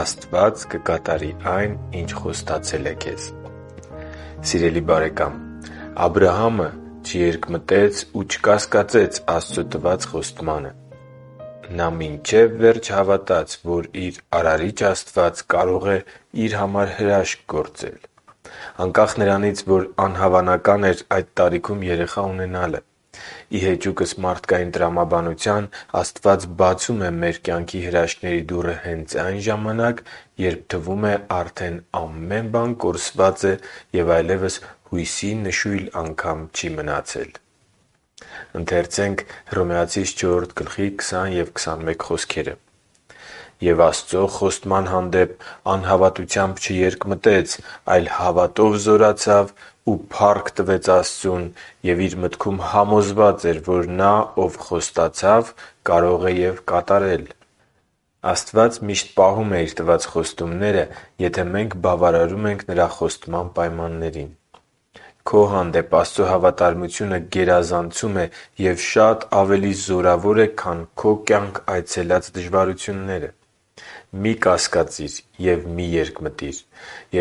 Աստված կկատարի այն, ինչ խոստացել է քեզ Սիրելի՛ բարեկամ, Աբրահամը չերկմտեց ու չկասկածեց Աստծո տված խոստմանը։ Նա մինչև վերջ հավատաց, որ իր Արարիչ Աստված կարող էր իր համար հրաշք գործել։ Անկախ նրանից, որ անհավանական էր այդ տարիքում երեխա ունենալը։ Ի հեճուկս մարդկային տրամաբանության, Աստված բացում է մեր կյանքի հրաշքների դուռը հենց այն ժամանակ, երբ թվում է արդեն ամեն բան կորսված է և այլևս հույսի նշույլ անգամ չի մնացել։ «Եվ Աստծու խոստման հանդեպ անհավատությամբ չերկմտեց, այլ հավատով զորացավ ու փառք տվեց Աստծուն։ Եվ իր մտքում համոզված էր, որ Նա, Ով խոստացավ, կարող է և կատարել» (Հռոմեացիս 4․20-21): Աստված միշտ պահում է Իր տված խոստումները, եթե մենք բավարարում ենք Նրա խոստման պայմաններին։ Քո հանդեպ Աստծո հավատարմությունը գերազանցում է և շատ ավելի զորավոր է, քան քո կյանք այցելած դժվարությունները։ Մի՛ կասկածիր ու մի՛ երկմտիր։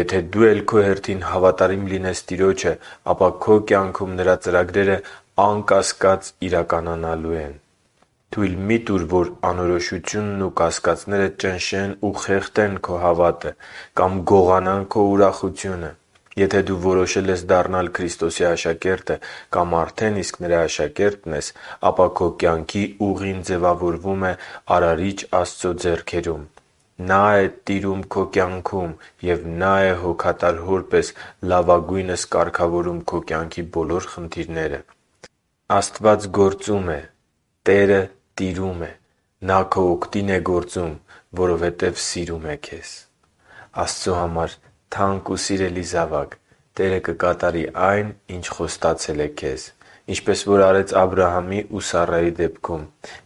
Եթե դու էլ քո հերթին հավատարիմ լինես Տիրոջը, ապա քո կյանքում Նրա ծրագրերը անկասկած իրականանալու են։ Թույլ մի՛ տուր, որ անորոշությունն ու կասկածները ճնշեն ու խեղդեն քո հավատը կամ գողանան քո ուրախությունը։ Եթե դու որոշել ես դառնալ Քրիստոսի աշակերտը կամ արդեն իսկ Նրա աշակերտն ես, ապա քո կյանքի ուղին ձևավորվում է Արարիչ Աստծո ձեռքերում։ Նա՛ է տիրում քո կյանքում, և Նա՛ է հոգատար Հոր պես լավագույնս կարգավորում քո կյանքի բոլոր խնդիրները։ Աստված գործում է։ Տերը տիրում է։ Նա քո օգտին է գործում, որովհետև սիրում է քեզ։ Աստծո համար թանկ ու սիրելի զավա՛կ, Տերը կկատարի այն, ինչ խոստացել է քեզ, ինչպես որ արեց Աբրահամի ու Սառայի դեպքում։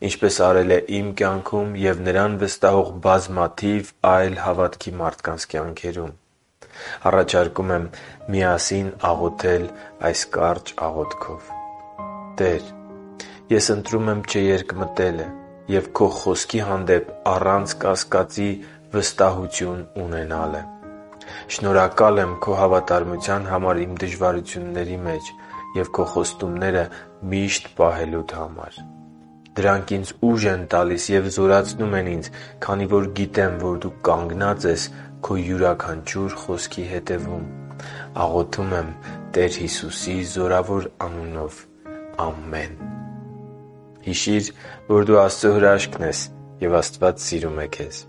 Ինչպես արել է իմ կյանքում և Նրան վստահող բազմաթիվ այլ հավատքի մարդկանց կյանքերում։ Առաջարկում եմ միասին աղոթել այս կարճ աղոթքը․ «Տե՛ր, ես ընտրում եմ չերկմտելը ու Քո Խոսքի հանդեպ առանց կասկածի վստահություն ունենալը։ Շնորհակալ եմ Քո հավատարմության համար իմ դժվարությունների մեջ և Քո խոստումները միշտ պահելու համար։ Դրանք ինձ ուժ են տալիս և զորացնում ինձ, քանի որ գիտեմ, որ Դու կանգնած ես Քո յուրաքանչյուր Խոսքի հետևում։ Աղոթում եմ Տեր Հիսուսի զորավոր անունով։ Ամե՛ն»։ Հիշի՛ր, որ դու Աստծո հրաշքն ես, և Աստված սիրում է քեզ։